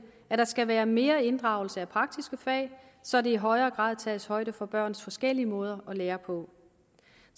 at der skal være mere inddragelse af praktiske fag så der i højere grad tages højde for børns forskellige måder at lære på